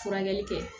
Furakɛli kɛ